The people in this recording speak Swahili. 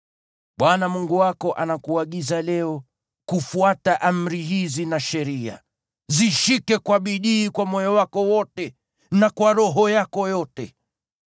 Bwana Mungu wako anakuagiza leo kufuata amri hizi na sheria; zishike kwa bidii kwa moyo wako wote na kwa roho yako yote.